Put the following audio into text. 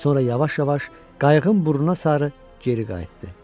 Sonra yavaş-yavaş qayığın burnuna sarı geri qayıtdı.